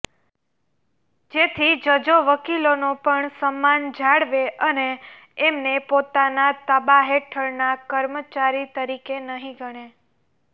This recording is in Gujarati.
જેથી જજો વકીલોનો પણ સન્માન જાળવે અને એમને પોતાના તાબાહેઠળના કર્મચારી તરીકે નહીં ગણે